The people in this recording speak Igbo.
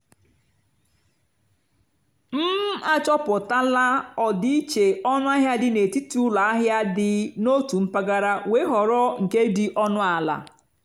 m àchọ́pụ́tálá ọ́dị́íché ónúàhịá dì n'étìtì ụ́lọ àhịá dì n'ótù mpàgàrà wéé họ́rọ́ nkè dì ónú àlà.